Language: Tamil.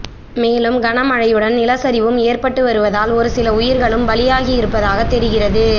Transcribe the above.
மேலும் கனமழையுடன் நிலச்சரிவும் ஏற்பட்டு வருவதால் ஒருசில உயிர்களும் பலியாகியிருப்பதாக தெரிகிறது